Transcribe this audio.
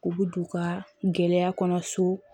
U bɛ don u ka gɛlɛya kɔnɔ so